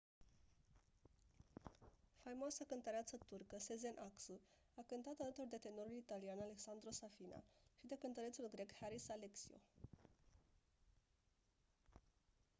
faimoasa cântăreață turcă sezen aksu a cântat alături de tenorul italian alessandro safina și de cântărețul grec haris alexiou